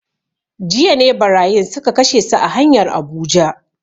Jiya ne barayin suka kashe su a hanyar Abuja